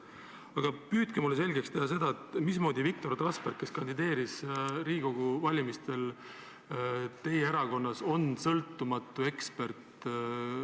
Aga püüdke mulle selgeks teha, mismoodi Viktor Trasberg, kes kandideeris Riigikogu valimistel teie erakonnas, on sõltumatu ekspert.